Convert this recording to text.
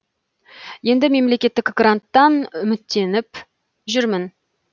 енді мемлекеттік гранттан үміттеніп жүрмін